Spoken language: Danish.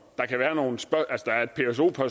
for